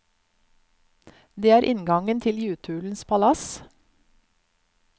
Det er inngangen til jutulens palass.